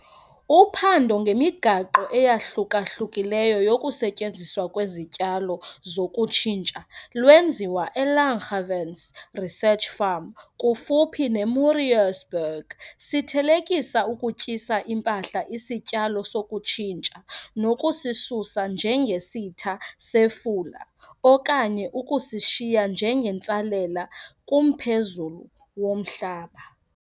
Uphando ngemigaqo eyahluka-hlukileyo yokusetyenziswa kwezityalo zokutshintsha lwenziwa eLanggewens Research Farm kufuphi neMoorreesburg. Sithelekisa ukutyisa impahla isityalo sokutshintsha nokusisusa njengesitha sefula okanye ukusishiya njengentsalela kumphezulu womhlaba.